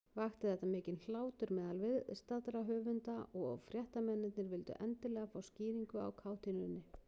Vakti þetta mikinn hlátur meðal viðstaddra höfunda, og fréttamennirnir vildu endilega fá skýringu á kátínunni.